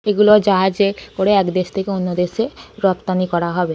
এগুলো জাহাজে করে এক দেশ থেকে অন্য দেশে রপ্তানি করা হবে ।